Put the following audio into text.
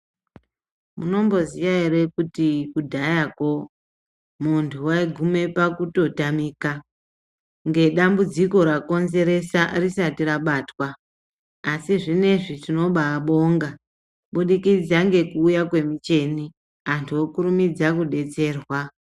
Munomboziya ere kuti kudhayako muntu waiguma pakutotamika ngedambudziko rakonzeresa risati rabatwa asi zvinezvi tinobabonga kubudikidza nekuuya kwemicheni, antu okurumidzwa kudetserwa.